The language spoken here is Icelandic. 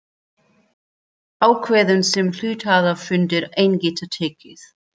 ákvörðun sem hluthafafundur einn getur tekið.